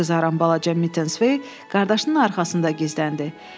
Üzü qızaran balaca Mitensvey qardaşının arxasında gizləndi.